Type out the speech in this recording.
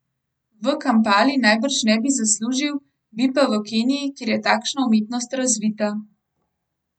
V Kampali najbrž ne bi veliko zaslužil, bi pa v Keniji, kjer je takšna umetnost razvita.